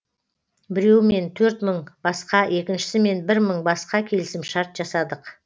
біреуімен төрт мың басқа екіншісімен бір мың басқа келісімшарт жасадық